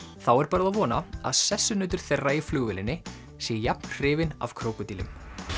þá er bara að vona að sessunautur þeirra í flugvélinni sé jafn hrifinn af krókódílum